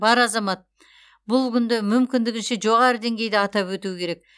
бар азамат бұл күнді мүмкіндігінше жоғары деңгейде атап өтуі керек